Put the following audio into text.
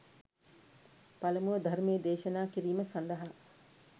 පළමුව ධර්මය දේශනා කිරීම සඳහා